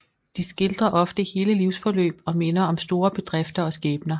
De skildrer ofte hele livsforløb og minder om store bedrifter og skæbner